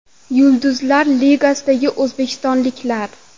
Yulduzlar ligasidagi o‘zbekistonliklar.